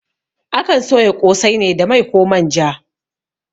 Akan soya ƙosai ne da mai koh manja